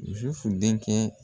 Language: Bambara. Zufu denkɛ